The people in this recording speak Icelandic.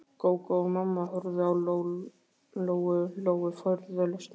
Gógó og mamma horfðu á Lóu-Lóu furðu lostnar.